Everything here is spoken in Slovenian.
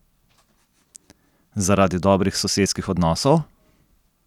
Zaradi dobrih sosedskih odnosov?